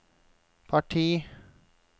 parti